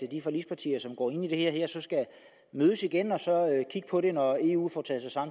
de forligspartier som går ind i det her mødes igen og kigge på det når eu får taget sig